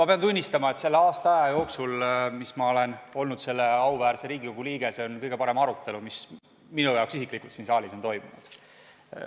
Ma pean tunnistama, et selle aasta jooksul, kui ma olen olnud selle auväärt Riigikogu liige, on see kõige parem arutelu, minu jaoks isiklikult, mis siin saalis on toimunud.